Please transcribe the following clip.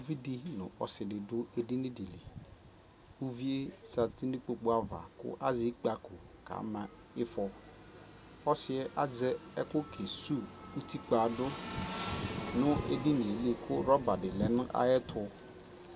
ʋvidi nʋ ɔsiidi dʋ ɛdini dili ʋviɛ zati nʋ ikpɔkʋ aɣa, azɛ ikpakɔ kʋ ɔka ma iƒɔ, ɔsiiɛ azɛ ɛkʋ kɛsʋ ʋtikpa dʋ nʋɛdiniɛ likʋ rubber di lɛnʋ ayɛtʋ